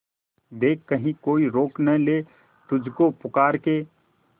देख कहीं कोई रोक नहीं ले तुझको पुकार के